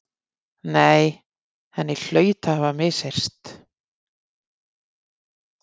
Nei, henni hlaut að hafa misheyrst.